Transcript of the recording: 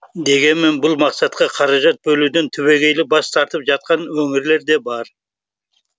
дегенмен бұл мақсатқа қаражат бөлуден түбегейлі бас тартып жатқан өңірлер де бар